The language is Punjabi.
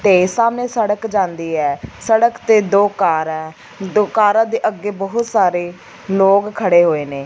ਤੇ ਸਾਹਮਣੇ ਸੜਕ ਜਾਂਦੀ ਹੈ ਸੜਕ ਤੇ ਦੋ ਕਾਰਾਂ ਹੈਂ ਦੋ ਕਾਰਾਂ ਦੇ ਅੱਗੇ ਬਹੁਤ ਸਾਰੇ ਲੋਕ ਖੜੇ ਹੋਏ ਨੇ।